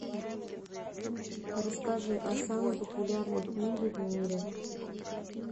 расскажи о самой популярной книге в мире